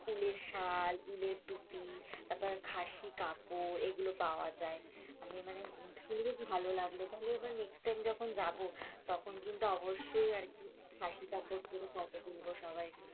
উলের সাল, উলেৰে তুপি তার পর খাসি কাপড় এগুলো পাওয়া যায়, আমি মানে শুনেও বেশ ভালো লাগলো, তাহলে এবার next time যখন যাবো তখন কিন্তু অবশ্যই আর কি খাসি কাপড় পরে ফটো তুলবো সবাই,